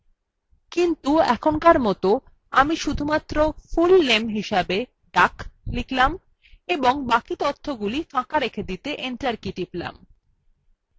কিন্তু এখনকার মত আমি শুধুমাত্র full name হিসাবে duck লিখব এবং বাকি তথ্যগুলি ফাঁকা রেখে দিতে enter key টিপব